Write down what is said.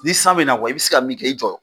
Ni san be na kuwa i be se ka min kɛ i jɔ